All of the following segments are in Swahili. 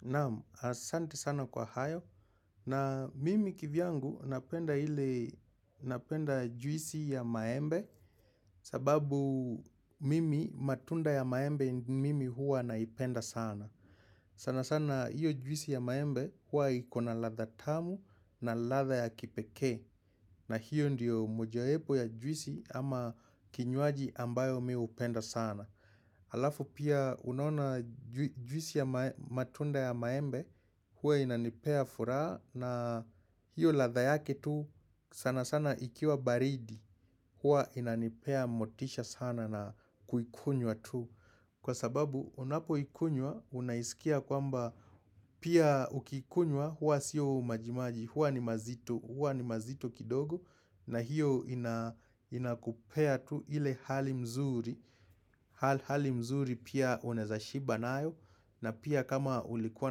Naam, asante sana kwa hayo na mimi kivyangu napenda ili napenda juisi ya maembe sababu mimi matunda ya maembe mimi huwa naipenda sana. Sana sana iyo juisi ya maembe huwa ikona latha tamu na latha ya kipekee na hiyo ndiyo mojawepo ya juisi ama kinywaji ambayo mi hupenda sana. Alafu pia unaona juisi ya matunda ya maembe huwa inanipea furaha na hiyo latha yake tu sana sana ikiwa baridi huwa inanipea motisha sana na kukunywa tu. Kwa sababu unapo ikunywa, unaisikia kwamba pia ukikunywa huwa siyo majimaji, hua ni mazitu, hua ni mazitu kidogo na hiyo inakupea tu ile hali mzuri, hali mzuri pia unaweza shiba nayo na pia kama ulikuwa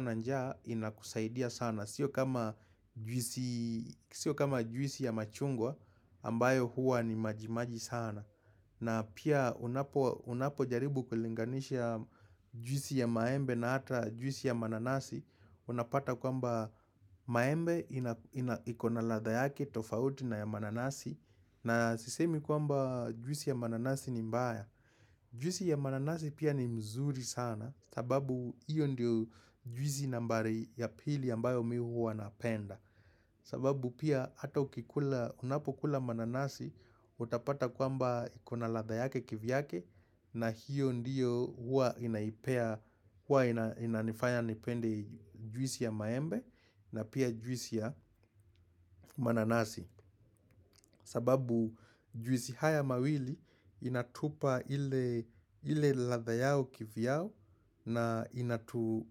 na njaa inakusaidia sana, sio kama juisi ya machungwa ambayo huwa ni majimaji sana na pia unapo jaribu kulinganisha juisi ya maembe na ata juisi ya mananasi Unapata kwamba maembe ikonaladha yake tofauti na ya mananasi na sisemi kwamba juisi ya mananasi ni mbaya Juisi ya mananasi pia ni mzuri sana sababu iyo ndio juisi nambari ya pili ambayo mi hu wanapenda sababu pia ata unapokula mananasi utapata kwamba ikuna latha yake kivyake na hiyo ndiyo huwa inaifanya nipende juisi ya maembe na pia juisi ya mananasi. Sababu juisi haya mawili inatupa ile latha yao kivyao na inatu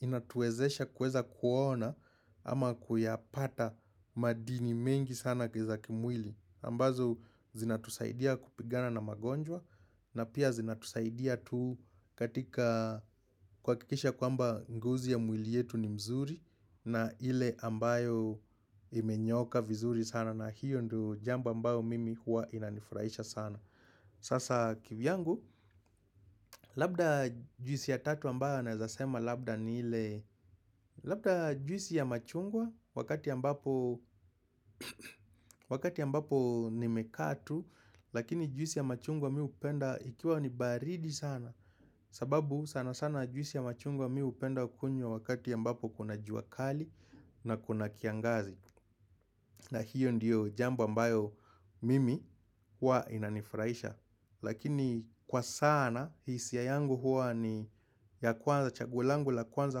inatuwezesha kuweza kuona ama kuyapata madini mengi sana kiza kimwili. Ambazo zinatusaidia kupigana na magonjwa na pia zinatusaidia tu katika kuha kikisha kwamba ngozi ya mwili yetu ni mzuri na ile ambayo imenyooka vizuri sana na hiyo ndo jambo ambayo mimi huwa inanifurahisha sana. Sasa kivyangu, labda juisi ya tatu ambayo nawezasema labda ni ile Labda juisi ya machungwa wakati ambapo ni mekaa tu Lakini juisi ya machungwa mi upenda ikiwa ni baridi sana sababu sana sana juisi ya machungwa mi hupenda kunywa wakati ambapo kuna juakali na kuna kiangazi na hiyo ndiyo jambo ambayo mimi huwa inanifurahisha Lakini kwa sana hisia yangu huwa ni ya kwanza chagua langu la kwanza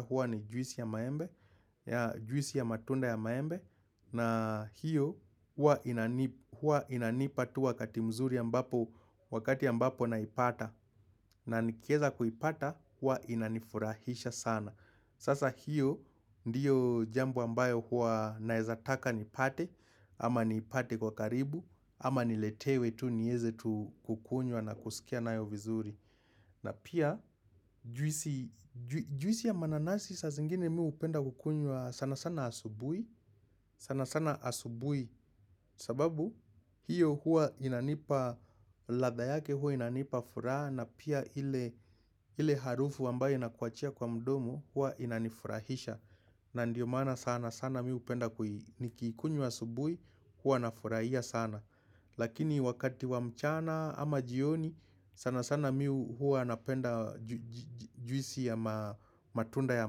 huwa ni juisi ya matunda ya maembe na hiyo huwa inanipatu wakati mzuri a mbapo wakati ambapo naipata na nikieza kuipata huwa inanifurahisha sana Sasa hiyo ndiyo jambo ambayo huwa naezataka nipate ama nipate kwa karibu, ama niletewe tu nieze tu kukunywa na kusikia na yo vizuri na pia juisi ya mananasi sa zingine mi hupenda kukunywa sana sana asubui sana sana asubui sababu hiyo huwa inanipa latha yake huwa inanipa furaha na pia ile ile harufu ambayo inakuachia kwa mdomo huwa inanifurahisha na ndiyo maana sana sana mi upenda ni kiikunywa asubui hua na furahia sana Lakini wakati wa mchana ama jioni sana sana mi hua napenda juisi ya matunda ya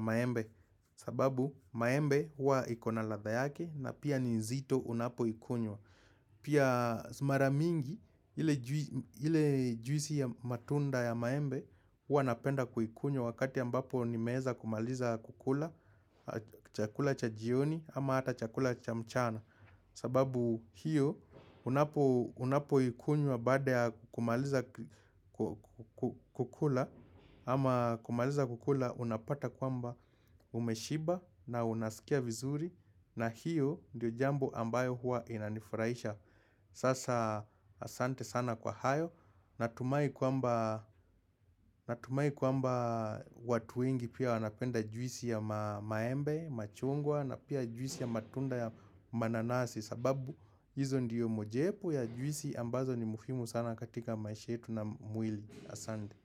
maembe sababu maembe huwa ikona latha yake na pia ninzito unapo ikunywa Pia maramingi ile juisi ya matunda ya maembe huwa napenda kuikunywa wakati ambapo ni meeza kumaliza kukula Chakula cha jioni ama hata chakula cha mchana sababu hiyo unapo ikunywa baada ya kumaliza kukula ama kumaliza kukula unapata kwamba umeshiba na unasikia vizuri na hiyo ndiyo jambo ambayo huwa inanifurahisha Sasa asante sana kwa hayo Natumai kwamba watu wengi pia wanapenda juisi ya maembe, machungwa na pia juisi ya matunda ya mananasi sababu hizo ndiyo mojepo ya juisi ambazo ni muhimu sana katika maishayetu na mwili Asante.